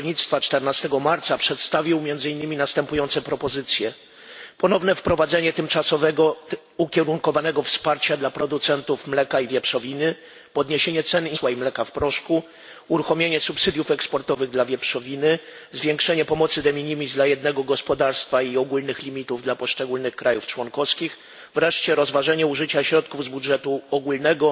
Rolnictwa 14 marca przedstawił między innymi następujące propozycje ponowne wprowadzenie tymczasowego ukierunkowanego wsparcia dla producentów mleka i wieprzowiny, podniesienie ceny interwencyjnej dla masła i mleka w proszku, uruchomienie subsydiów eksportowych dla wieprzowiny, zwiększenie pomocy de minimis dla jednego gospodarstwa i ogólnych limitów dla poszczególnych krajów członkowskich, wreszcie rozważenie użycia środków z budżetu ogólnego